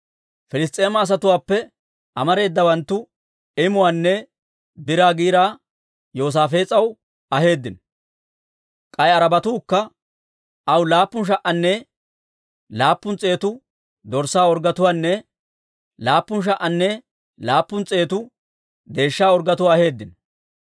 Piliss's'eema asatuwaappe amareedawanttu imuwaanne biraa giiraa Yoosaafees'aw aheeddino; k'ay Arabatuukka aw laappun sha"anne laappun s'eetu dorssaa orggetuwaanne laappun sha"anne laappun s'eetu deeshsha orggetuwaa aheeddino.